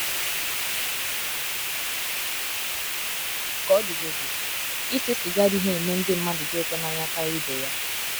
Ka ọ dịgodị, ise siga adịghị eme ndị mmadụ di ụto na anya karia ibe ya.